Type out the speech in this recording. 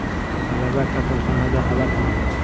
Talaba kasalxonada halok bo‘ldi.